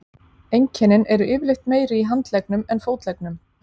Einkennin eru yfirleitt meiri í handleggnum en fótleggnum.